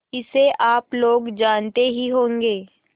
इसे आप लोग जानते ही होंगे